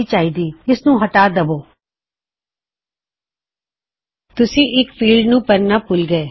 message ਵੇੱਖੋ you forgot to fill out a field you forgot to fill out a field ਤੁਸੀਂ ਇੱਕ field ਨੂੰ ਭਰਨਾ ਭੁਲ ਗਏ